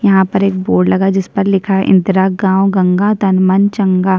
यहाँ पर एक बोर्ड लगा है जिस पर लिखा है इंदिरा गांव गंगा तन मन चंगा --